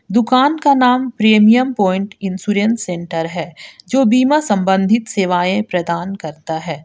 दुकान का नाम प्रीमियम प्वाइंट इंश्योरेंस सेंटर है जो बीमा संबंधित सेवाएं प्रदान करता है।